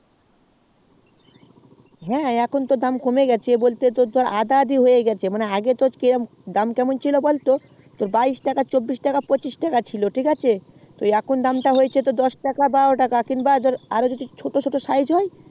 হ্যাঁ এখন তো দাম তা কমে গেছে তো আধা অধি হয়ে গেছে আগে তো দাম কম ছিল বল তো বাইশ টাকা তেইশ টাকা চব্বিশ টাকা পঁচিশ টাকা ছিল ঠিক আছে এখন তো দাম তা হয়েছে দশ টাকা বা বারো টাকা কিংবা আরো যদি ছোট ছোট size হয়